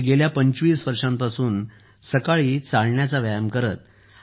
ते गेल्या पंचवीस वर्षांपासून सकाळी चालण्याचा व्यायाम करत